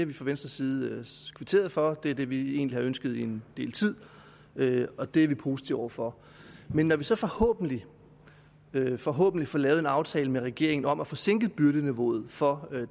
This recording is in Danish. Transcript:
vi fra venstres side kvitteret for og det er det vi egentlig har ønsket en del tid og det er vi positive over for men når vi så forhåbentlig forhåbentlig får lavet en aftale med regeringen om at få sænket byrdeniveauet for